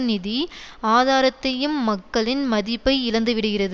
நிதி ஆதாரத்தையும் மக்களின் மதிப்பை இழந்துவிடுகிறது